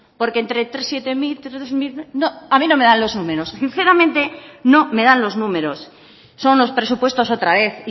porque entre tres siete mil tres mil a mí no me dan lo números sinceramente no me dan los números son los presupuestos otra vez